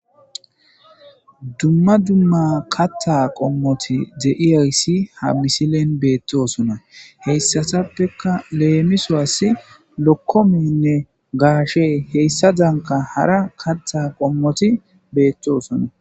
Dumma dumma kaththa qommotti de'iyayssi ha misilen bettosonna. Haysatappekka leemisuwasi bokkolowanne gashshey heysazankka hara kaththa qommotti bettosonna.